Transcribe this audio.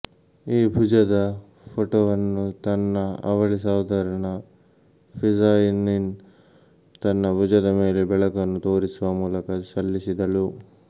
ಈ ಭುಜದ ಫೋಟೋವನ್ನು ತನ್ನ ಅವಳಿ ಸಹೋದರನ ಪಿಝಾನಿನ್ ತನ್ನ ಭುಜದ ಮೇಲೆ ಬೆಳಕನ್ನು ತೋರಿಸುವ ಮೂಲಕ ಸಲ್ಲಿಸಿದಳು